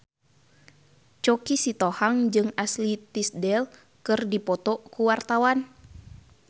Choky Sitohang jeung Ashley Tisdale keur dipoto ku wartawan